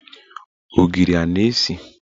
Ogiri a na-esi?